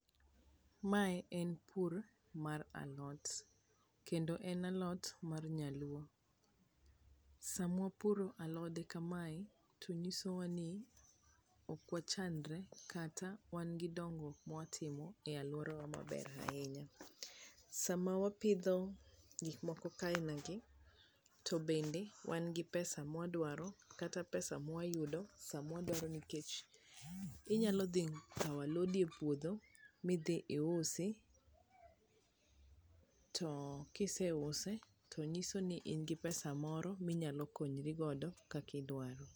mae en pur mar alot kendo en alot mar nyaluo, samwa puro alode kamae to nyiso wa ni ok wachandre kata wan gi dongruok mwa timo e aluorawa maber ahinya, sama wapidho gik moko ka ina gi ,bende wan gi pesa mwa dwaro kata pesa mwa yudo nikech inyalo dhi kawo alodi e puodho midhi iusi to kise use to nyiso ni in gi pesa moro minyalo konyri godo kaki dwaro